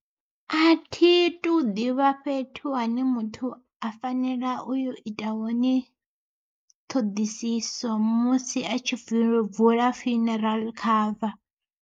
A thi tu ḓivha fhethu hune muthu a fanela u yo ita hone, ṱhoḓisiso musi a tshi vula funeral cover.